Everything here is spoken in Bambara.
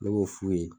Ne b'o f'u ye